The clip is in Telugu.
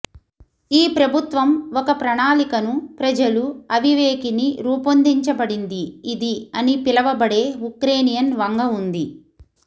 ఈ ప్రభుత్వం ఒక ప్రణాళికను ప్రజలు అవివేకిని రూపొందించబడింది ఇది అని పిలవబడే ఉక్రేనియన్ వంగ ఉంది